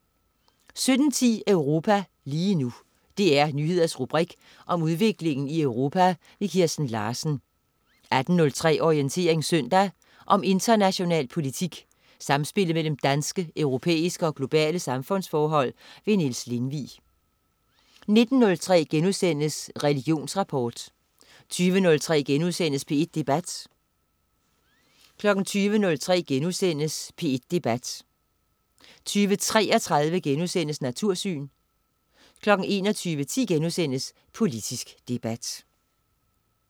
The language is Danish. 17.10 Europa lige nu. DR Nyheders rubrik om udviklingen i Europa. Kirsten Larsen 18.03 Orientering søndag. Om international politik, samspillet mellem danske, europæiske og globale samfundsforhold. Niels Lindvig 19.03 Religionsrapport* 20.03 P1 Debat* 20.33 Natursyn* 21.10 Politisk debat*